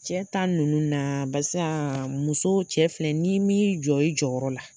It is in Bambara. Cɛ ta nunnu na barisa muso cɛ filɛ ni min jɔ i jɔyɔrɔ la?